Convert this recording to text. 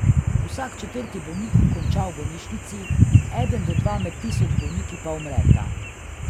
Vsak četrti bolnik konča v bolnišnici, eden do dva med tisoč bolniki pa umreta.